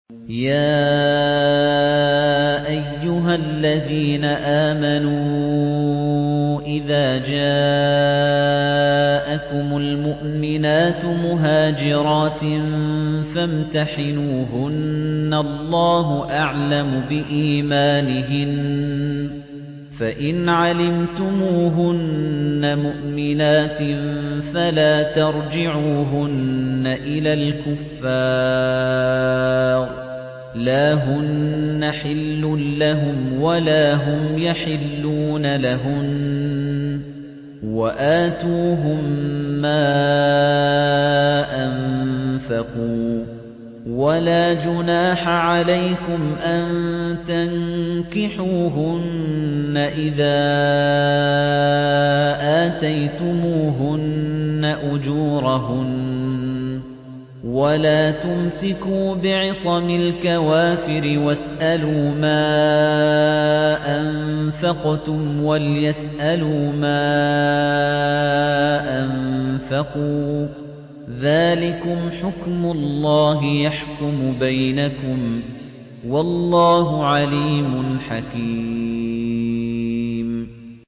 يَا أَيُّهَا الَّذِينَ آمَنُوا إِذَا جَاءَكُمُ الْمُؤْمِنَاتُ مُهَاجِرَاتٍ فَامْتَحِنُوهُنَّ ۖ اللَّهُ أَعْلَمُ بِإِيمَانِهِنَّ ۖ فَإِنْ عَلِمْتُمُوهُنَّ مُؤْمِنَاتٍ فَلَا تَرْجِعُوهُنَّ إِلَى الْكُفَّارِ ۖ لَا هُنَّ حِلٌّ لَّهُمْ وَلَا هُمْ يَحِلُّونَ لَهُنَّ ۖ وَآتُوهُم مَّا أَنفَقُوا ۚ وَلَا جُنَاحَ عَلَيْكُمْ أَن تَنكِحُوهُنَّ إِذَا آتَيْتُمُوهُنَّ أُجُورَهُنَّ ۚ وَلَا تُمْسِكُوا بِعِصَمِ الْكَوَافِرِ وَاسْأَلُوا مَا أَنفَقْتُمْ وَلْيَسْأَلُوا مَا أَنفَقُوا ۚ ذَٰلِكُمْ حُكْمُ اللَّهِ ۖ يَحْكُمُ بَيْنَكُمْ ۚ وَاللَّهُ عَلِيمٌ حَكِيمٌ